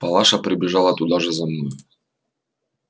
палаша прибежала туда же за мною